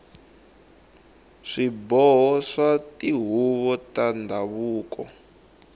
swiboho swa tihuvo ta ndhavuko